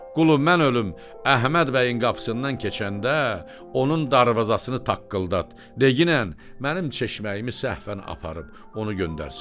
Qulu, mən ölüm, Əhməd bəyin qapısından keçəndə onun darvazasını taqqıldat, deyinən mənim çeşməyimi səhfən aparıb onu göndərsin.